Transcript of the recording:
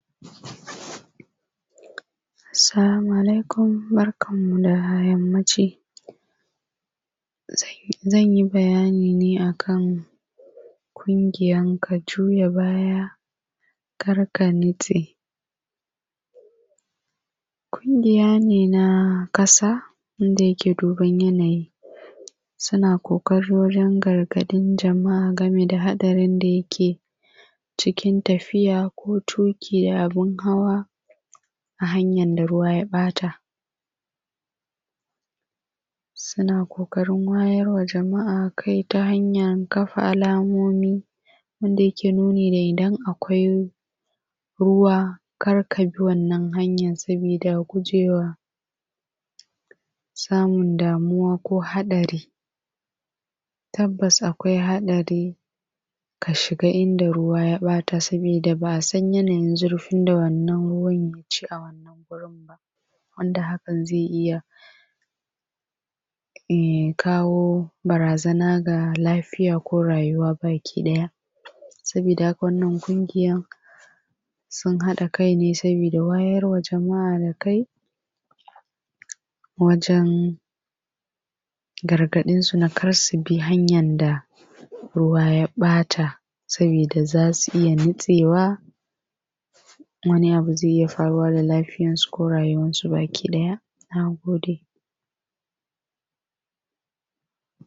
salamu alaikum barkan mu da yammaci zanyi bayani ne akan ƙungiyar ka juya baya kar ka nutse ƙungiya ne na ƙasa wanda yake duban yanayi suna ƙoƙari wajen gargaɗin jama’a game da haɗarin da yake cikin tafiya ko tuƙin abun hawa a hanyar da ruwa ya ɓata suna ƙoƙarin wayarwa jama’a kai ta hanyar kafa alamomi wanda yake nuni da idan akwai ruwa kar ka bi wannan hanyar sabida gujewar samun damuwa ko haɗari tabbas akwai haɗari ka shiga inda ruwa ya bata sabida ba a san yanayin zurfin wannan ruwa yaci a wannan gurin ba wanda hakan zai iya kawo barazana ga lafiya ko rayuwa baki ɗaya sabida haka wannan ƙungiyan sun haɗe kai ne sabida wayarwa jama’a da kai wajen gargaɗin su kada su bi hanyan da ruwa ya ɓata sabida za su iya nutsewa wani abu zai iya faruwa da lafiyar su ko rayuwar su baki ɗaya nagode